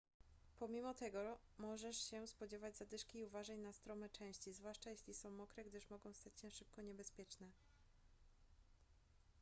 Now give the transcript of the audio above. pomimo tego możesz się spodziewać zadyszki i uważaj na strome części zwłaszcza jeśli są mokre gdyż mogą stać się szybko niebezpieczne